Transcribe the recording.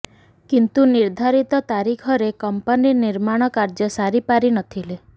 କିନ୍ତୁ ନିର୍ଧାରିତ ତାରିଖରେ କମ୍ପାନି ନିର୍ମାଣ କାର୍ଯ୍ୟ ସାରିପାରି ନଥିଲା